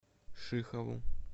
шихову